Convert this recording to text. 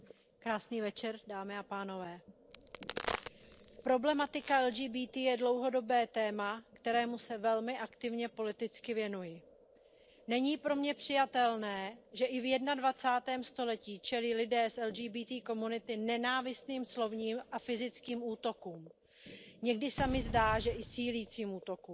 Paní předsedající, problematika LGBTI je dlouhodobé téma, kterému se velmi aktivně politicky věnuji. Není pro mě přijatelné, že i v jednadvacátém století čelí lidé z LGBTI komunity nenávistným slovním a fyzickým útokům, někdy se mi zdá, že i sílícím útokům.